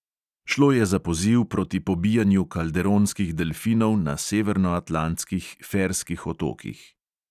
Šlo je za poziv proti pobijanju kalderonskih delfinov na severnoatlantskih ferskih otokih.